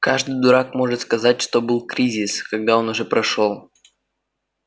каждый дурак может сказать что был кризис когда он уже прошёл